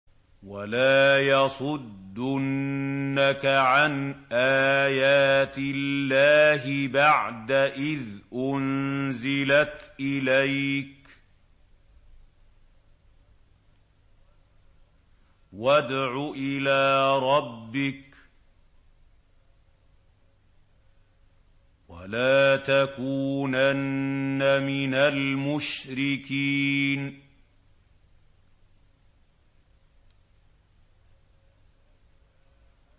وَلَا يَصُدُّنَّكَ عَنْ آيَاتِ اللَّهِ بَعْدَ إِذْ أُنزِلَتْ إِلَيْكَ ۖ وَادْعُ إِلَىٰ رَبِّكَ ۖ وَلَا تَكُونَنَّ مِنَ الْمُشْرِكِينَ